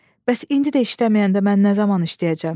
Bəs indi də işləməyəndə mən nə zaman işləyəcəm?